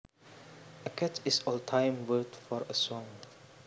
A catch is old time word for a song